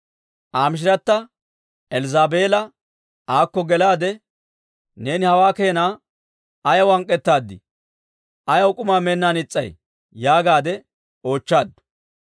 Aa machchatta Elzzaabeela aakko gelaade, «Neeni hawaa keena ayaw hank'k'etaadii? Ayaw k'umaa meennaan is's'ay?» yaagaadde oochchaaddu.